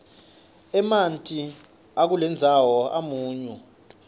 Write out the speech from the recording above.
emanti akulendzawo amunyu